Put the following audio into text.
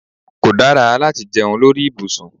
Kó dára láti jẹun lórí ibùsùn